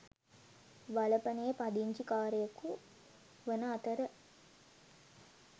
වලපනේ පදිංචිකාරයකු වන අතර